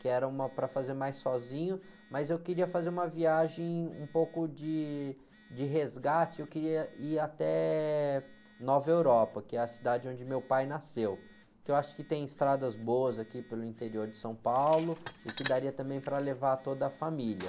que era uma para fazer mais sozinho, mas eu queria fazer uma viagem um pouco de, de resgate, eu queria ir até Nova Europa, que é a cidade onde meu pai nasceu, que eu acho que tem estradas boas aqui pelo interior de São Paulo e que daria também para levar toda a família.